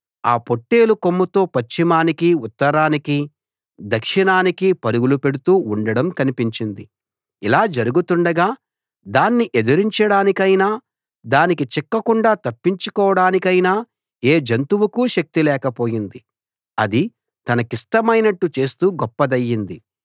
ఆ పొట్టేలు కొమ్ముతో పశ్చిమానికి ఉత్తరానికి దక్షిణానికి పరుగులు పెడుతూ ఉండడం కనిపించింది ఇలా జరుగుతుండగా దాన్ని ఎదిరించడానికైనా దానికి చిక్కకుండా తప్పించుకోడానికైనా ఏ జంతువుకూ శక్తి లేకపోయింది అది తనకిష్టమైనట్టు చేస్తూ గొప్పదయింది